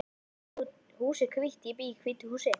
Þetta hús er hvítt. Ég bý í hvítu húsi.